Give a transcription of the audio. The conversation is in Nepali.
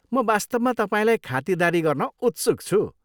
म वास्तवमा तपाईँलाई खातिरदारी गर्न उत्सुक छु।